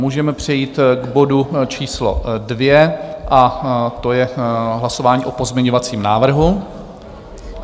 Můžeme přejít k bodu číslo 2 a to je hlasování o pozměňovacím návrhu.